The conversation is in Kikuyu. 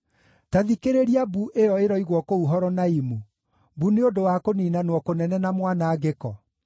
Ta thikĩrĩria mbu ĩyo ĩroigwo kũu Horonaimu, mbu nĩ ũndũ wa kũniinanwo kũnene na mwanangĩko.